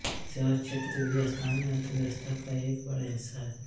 सेवा क्षेत्र भी स्थानीय अर्थव्यवस्था का एक बड़ा हिस्सा है